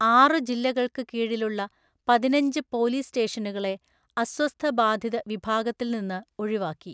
ആറു ജില്ലകൾക്ക് കീഴിലുള്ള പതിനഞ്ച് പോലീസ് സ്റ്റേഷനുകളെ അസ്വസ്ഥബാധിത വിഭാഗത്തിൽ നിന്ന് ഒഴിവാക്കി.